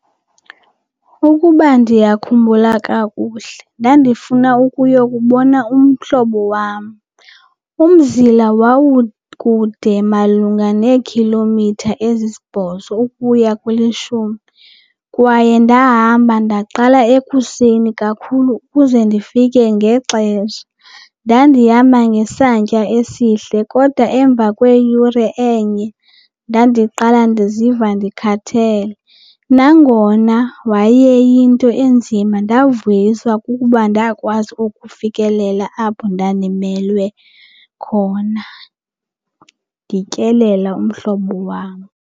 Ukuba ndiyakhumbula kakuhle ndandifuna ukuya kubona umhlobo wam. Umzila wawukude malunga neekhilomitha ezisibhozo ukuya kwelishumi kwaye ndahamba ndaqala ekuseni kakhulu ukuze ndifike ngexesha. Ndandihamba ngesantya esihle kodwa emva kweyure enye ndandiqala ndiziva ndikhathele. Nangona wayeyinto enzima ndavuyiswa kukuba ndakwazi ukufikelela apho ndandimelwe khona ndityelela umhlobo wam.